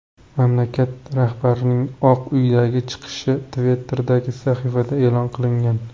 Mamlakat rahbarining Oq uydagi chiqishi Twitter’dagi sahifasida e’lon qilingan .